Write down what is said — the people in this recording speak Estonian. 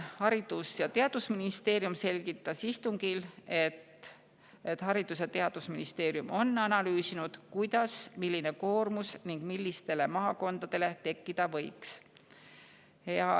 Haridus‑ ja Teadusministeerium selgitas istungil, et nad on analüüsinud, kuidas ja milline koormus millistele maakondadele tekkida võiks.